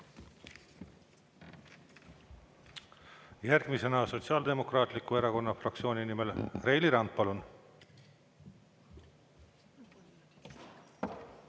Järgmisena Sotsiaaldemokraatliku Erakonna fraktsiooni nimel Reili Rand, palun!